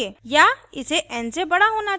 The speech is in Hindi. या इसे n से बड़ा होना चाहिए